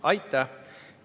Aitäh!